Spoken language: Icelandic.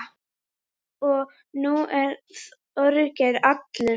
Og nú er Þorgeir allur.